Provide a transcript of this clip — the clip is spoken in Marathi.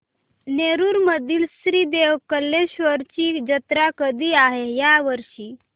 नेरुर मधील श्री देव कलेश्वर ची जत्रा कधी आहे या वर्षी